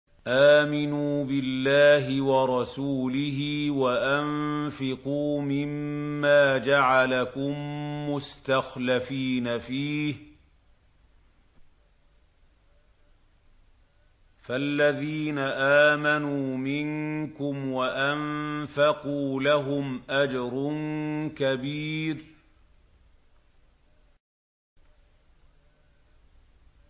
آمِنُوا بِاللَّهِ وَرَسُولِهِ وَأَنفِقُوا مِمَّا جَعَلَكُم مُّسْتَخْلَفِينَ فِيهِ ۖ فَالَّذِينَ آمَنُوا مِنكُمْ وَأَنفَقُوا لَهُمْ أَجْرٌ كَبِيرٌ